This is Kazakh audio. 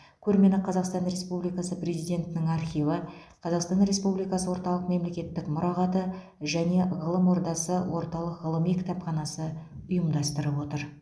көрмені қазақстан республикасы президентінің архиві қазақстан республикасы орталық мемлекеттік мұрағаты және ғылым ордасы орталық ғылыми кітапханасы ұйымдастырып отыр